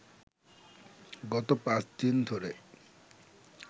গত পাঁচদিন ধরে